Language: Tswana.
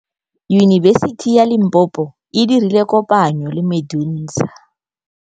Yunibesiti ya Limpopo e dirile kopanyô le MEDUNSA.